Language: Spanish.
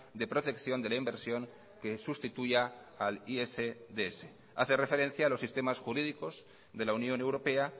de protección de la inversión que sustituya al isds hace referencia a los sistemas jurídicos de la unión europea